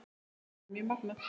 Það er mjög magnað.